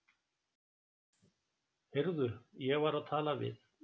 Heyrðu, ég var að tala við